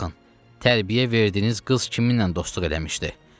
Baxın, tərbiyə verdiyiniz qız kiminlə dostluq eləmişdi.